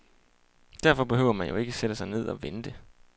Derfor behøver man jo ikke at sætte sig ned og vente.